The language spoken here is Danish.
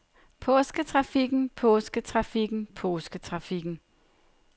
påsketrafikken påsketrafikken påsketrafikken